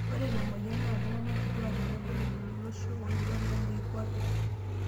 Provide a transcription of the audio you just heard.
Ore ina moyian naa iltung'ana kituak tenebo lelo lolosho oiborr le moikuape.